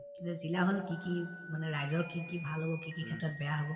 যে জিলা হল কি কি মানে ৰাইজৰ কি কি ভাল হব কি কি ক্ষেত্ৰত বেয়া হব